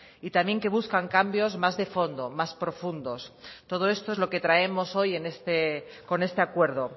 y también que buscan cambios más de fondo más profundos todo esto es lo que traemos hoy con este acuerdo